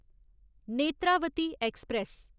Netravati express